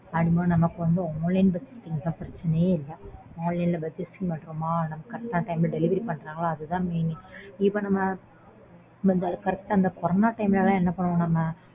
அப்படிங்கும்போது நமக்கு வந்து online purchasing ங்கும் போது பிரச்சனையே இல்ல. online ல purchasing பண்ணோமா correct ஆ delivery பண்ணாங்களா, அது தான் main இப்போ நம்ம correct ஆ நம்ம corona time ல லாம் என்ன பண்ணோம் நம்ம.